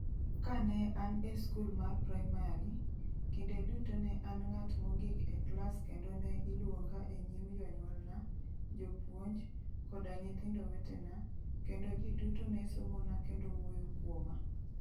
Kane an e skul mar praimari, kinde duto ne an ng'at mogik e klas kendo ne iluonga e nyim jonyuolna, jopuonj, koda nyithindo wetena, kendo ji duto ne somona kendo wuoyo kuoma.